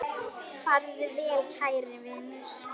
Farðu vel kæri vinur.